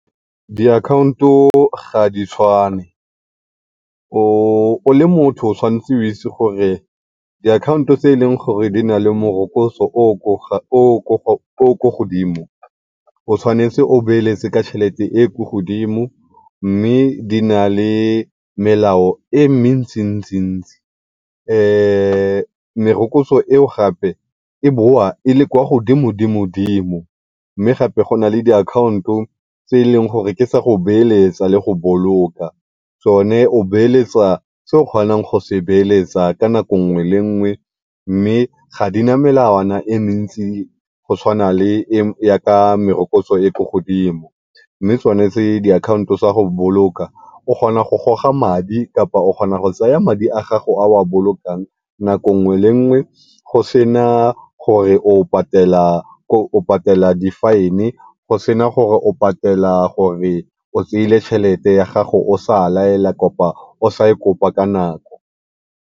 Diakhaonto ga di tshwane. O, o le motho o tshwanetse o itse gore diakhaonto tse e leng gore di na le morokotso o o ko godimo, o tshwanetse o beeletse ka tšhelete e e ko godimo mme di na le melao e mentsi-ntsi-ntsi. Merokotso eo gape e bowa e le kwa godimo-dimo-dimo mme gape go na le diakhaonto tse e leng gore ke tsa go beeletsa le go boloka, tsone o beeletsa se o kgonang go se beeletsa ka nako nngwe le nngwe mme ga di na melawana e mentsi go tshwana le e ya ka merokotso e e ko godimo mme tsone tse diakhaonto tsa go boloka o kgona go goga madi kapa o kgona go tsaya madi a gago a o a bolokang nako nngwe le nngwe go se na gore o patela di-fine go sena gore o krey-ile tšhelete ya gago o sa laela kapa o sa e kopa ka nako.